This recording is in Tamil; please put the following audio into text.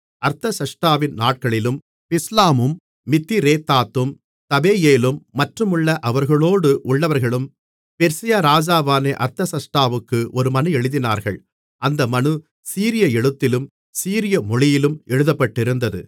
அர்தசஷ்டாவின் நாட்களிலும் பிஸ்லாமும் மித்திரேதாத்தும் தாபெயேலும் மற்றுமுள்ள அவர்களோடு உள்ளவர்களும் பெர்சியா ராஜாவான அர்தசஷ்டாவுக்கு ஒரு மனு எழுதினார்கள் அந்த மனு சீரிய எழுத்திலும் சீரிய மொழியிலும் எழுதப்பட்டிருந்தது